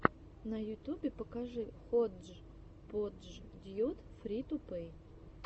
на ютубе покажи ходжподждьюд фри ту плей